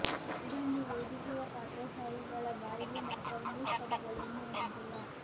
ಇದೊಂದು ವೇದಿಕೆಯ ಪಾತ್ರಧಾರಿಗಳ ಬಾಯಿಗೆ ಮಾತ್ರ ಇಂಗ್ಲಿಷ್ ಪದಗಳು ಇನ್ನೂ ನುಗ್ಗಿಲ್ಲ